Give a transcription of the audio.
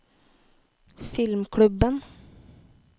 filmklubben